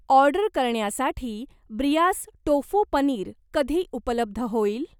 Order करण्यासाठी ब्रियास tofu paneer कधी उपलब्ध होईल?